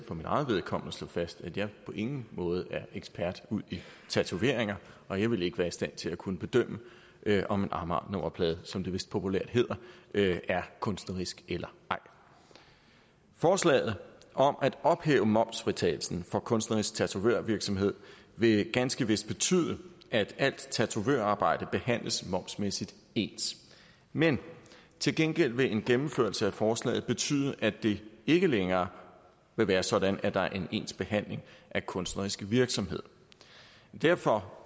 mit eget vedkommende slå fast at jeg på ingen måde er ekspert udi tatoveringer og jeg vil ikke være i stand til at kunne bedømme om en amagernummerplade som det vist populært hedder er kunstnerisk eller ej forslaget om at ophæve momsfritagelsen for kunstnerisk tatovørvirksomhed vil ganske vist betyde at alt tatovørarbejde behandles momsmæssigt ens men til gengæld vil en gennemførelse af forslaget betyde at det ikke længere vil være sådan at der er en ens behandling af kunstnerisk virksomhed derfor